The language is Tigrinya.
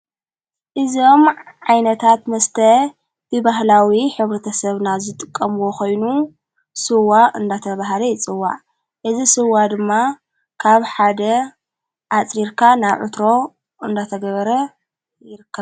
እዞም ዓይነታት መስተ ብባህላዊ ኅብሪ ተ ሰብና ዘጥቀምዎ ኾይኑ ሱዋ እንዳተ ብሃደ ይጽዋዕ እዝ ሥዋ ድማ ካብ ሓደ ኣጽሪርካ ናብ ዕትሮ እንዳተ ገበረ ይርካብ።